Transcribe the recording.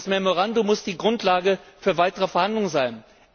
Das Memorandum muss die Grundlage für weitere Verhandlungen sein.